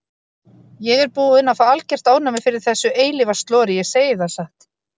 Ég er búin að fá algert ofnæmi fyrir þessu eilífa slori, ég segi það satt.